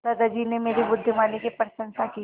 दादाजी ने मेरी बुद्धिमानी की प्रशंसा की